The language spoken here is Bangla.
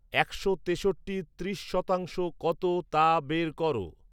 একশ তেষট্টির ত্রিশ শতাংশ কত তা বের করো